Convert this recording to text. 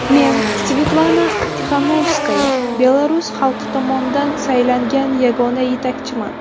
Men, Svetlana Tixanovskaya, belarus xalqi tomonidan saylangan yagona yetakchiman.